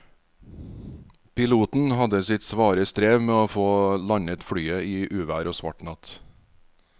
Piloten hadde sitt svare strev med å få landet flyet i uvær og svart natt.